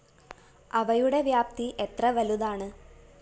അവയുടെ വ്യാപ്തി എത്ര വലുതാണ്